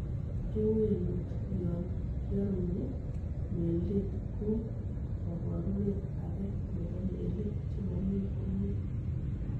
Kewelut yon kiorunyi meldet ko koborunet age nebo melik chemomi komie.